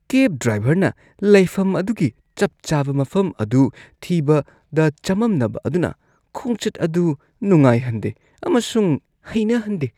ꯀꯦꯕ ꯗ꯭ꯔꯥꯏꯚꯔꯅ ꯂꯩꯐꯝ ꯑꯗꯨꯒꯤ ꯆꯞ ꯆꯥꯕ ꯃꯐꯝ ꯑꯗꯨ ꯊꯤꯕꯗ ꯆꯃꯝꯅꯕ ꯑꯗꯨꯅ ꯈꯣꯡꯆꯠ ꯑꯗꯨ ꯅꯨꯡꯉꯥꯏꯍꯟꯗꯦ ꯑꯃꯁꯨꯡ ꯍꯩꯅꯍꯟꯗꯦ ꯫